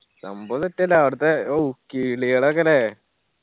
സംഭവം set അല്ലെ അവടത്തെ ഊ കിളികളൊക്കെ ല്ലേ